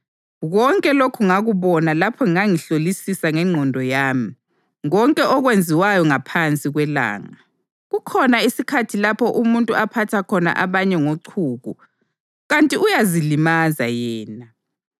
Konke lokhu ngakubona lapho ngangihlolisisa ngengqondo yami konke okwenziwayo ngaphansi kwelanga. Kukhona isikhathi lapho umuntu aphatha khona abanye ngochuku kanti uyazilimaza yena.